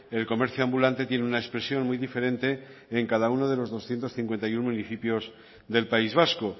el comercio ambulante tiene una expresión muy diferente en cada uno de los doscientos cincuenta y uno municipios del país vasco